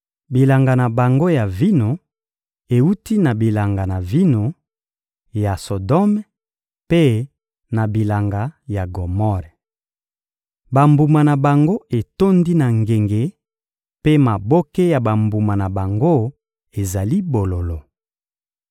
Bilanga na bango ya vino ewuti na bilanga ya vino ya Sodome mpe na bilanga ya Gomore. Bambuma na bango etondi na ngenge, mpe maboke ya bambuma na bango ezali bololo.